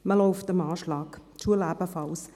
Man ist am Anschlag, die Schulen ebenfalls.